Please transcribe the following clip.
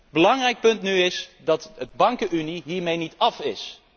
Een belangrijk punt is dat de bankenunie hiermee niet af is.